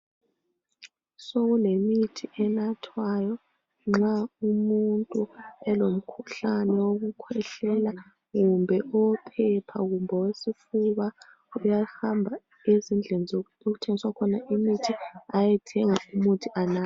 Sokulemithi enathwayo ,nxa umuntu elomkhuhlane wokukhwehlela kumbe owophepha kumbe owesifuba .Uyahamba ezindlini zoku okuthengiswa khona imithi ayethenga imithi anathe.